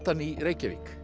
í Reykjavík